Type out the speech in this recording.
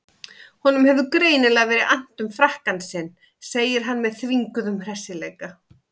Honum hefur greinilega verið annt um frakkann sinn, segir hann með þvinguðum hressileika.